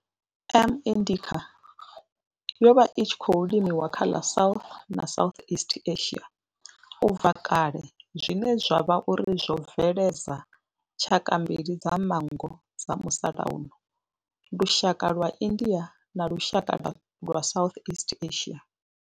M. indica yo vha i tshi khou limiwa kha ḽa South na Southeast Asia ubva kale zwine zwa vha uri zwo bveledza tshaka mbili dza manngo dza musalauno lushaka lwa India na lushaka lwa Southeast Asia.